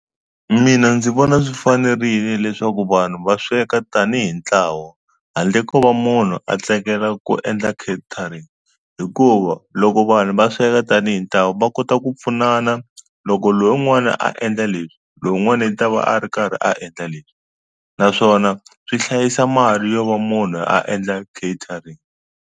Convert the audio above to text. Mina ndzi vona swi fanerile leswaku vanhu va sweka tanihi ntlawa handle ko va munhu a tsekela ku endla catering hikuva loko vanhu va sweka tanihi ntlawa va kota ku pfunana loko lowun'wana a endla leswi lowun'wana i ta va a ri karhi a endla leswi naswona swi hlayisa mali yo va munhu a endla catering.